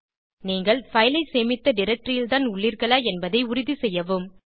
நீங்கள் பைல் ஐ சேமித்த டைரக்டரி ல் தான் உள்ளீர்களா என்பதை உறுதிசெய்யவும்